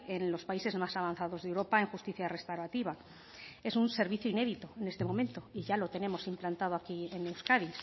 en los países más avanzados de europa en justicia restaurativa es un servicio inédito este momento y ya lo tenemos implantado aquí en euskadi